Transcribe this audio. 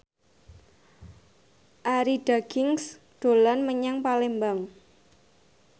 Arie Daginks dolan menyang Palembang